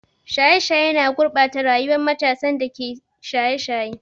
Shaye-shaye na gurɓata rayuwar matasan da ke shaye-shaye.